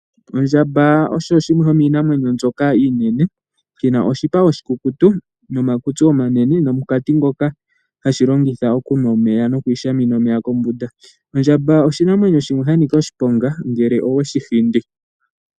Ondjamba osho shimwe shomiinamwenyo mbyoka iinene shina oshipa oshikukutu nomakutsi omanene nomunkati ngoka hashi longitha okunwa omeya nokwiishamina omeya kombunda. Ondjamba oshinamwenyo shimwe shanika oshiponga ngele oweshi hindi.